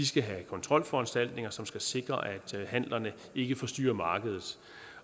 skal have kontrolforanstaltninger som skal sikre at handlerne ikke forstyrrer markedet